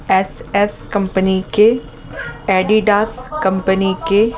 S S company के Adidas company के--